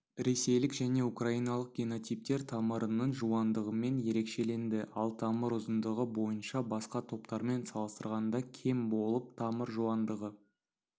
ресейлік және украиналық генотиптер тамырының жуандығымен ерекшеленді ал тамыр ұзындығы бойынша басқа топтармен салыстырғанда кем болып тамыр жуандығы